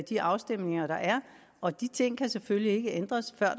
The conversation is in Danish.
de afstemninger der er og de ting kan selvfølgelig ikke ændres før